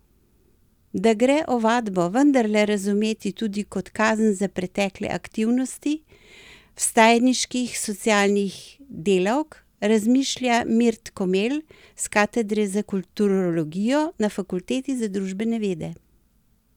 Da gre ovadbo vendarle razumeti tudi kot kazen za pretekle aktivnosti Vstajniških socialnih delavk, razmišlja Mirt Komel s katedre za kulturologijo na fakulteti za družbene vede.